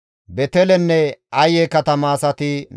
Harime zereththati 1,017,